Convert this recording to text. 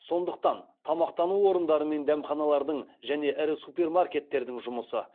сондықтан тамақтану орындары мен дәмханалардың және ірі супермаркеттердің жұмысы